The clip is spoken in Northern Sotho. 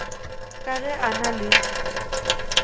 ka ge a na le